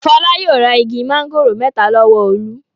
Fọlá yóò ra igi máńgòrò mẹ́ta lọ́wọ́ Olú.